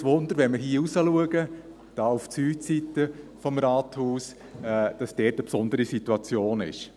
Auch kein Wunder, wenn wir hier nach draussen blicken, wo auf die Südseite des Rathauses eine besondere Situation besteht.